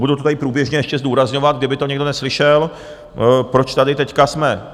Budu to tady průběžně ještě zdůrazňovat, kdyby to někdo neslyšel, proč tady teď jsme.